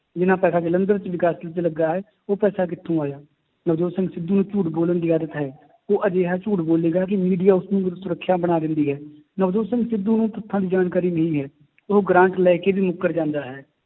ਜਿੰਨਾ ਪੈਸਾ ਜਲੰਧਰ 'ਚ ਵਿਕਾਸ 'ਚ ਲੱਗਾ ਹੈ, ਉਹ ਪੈਸਾ ਕਿੱਥੋਂ ਆਇਆ ਨਵਜੋਤ ਸਿੰਘ ਸਿੱਧੂ ਨੂੰ ਝੂਠ ਬੋਲਣ ਦੀ ਆਦਤ ਹੈ ਉਹ ਅਜਿਹਾ ਝੂਠ ਬੋਲੇਗਾ ਕਿ media ਉਸਨੂੰ ਸੁਰਖੀਆਂ ਬਣਾ ਦਿੰਦੀ ਹੈ, ਨਵਜੋਤ ਸਿੰਘ ਸਿੱਧੂ ਨੂੰ ਤੱਥਾਂ ਦੀ ਜਾਣਕਾਰੀ ਨਹੀਂ ਹੈ ਉਹ ਗ੍ਰਾਂਟ ਲੈ ਕੇ ਵੀ ਮੁੱਕਰ ਜਾਂਦਾ ਹੈ,